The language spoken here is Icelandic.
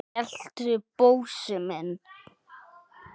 geltu, Bósi minn!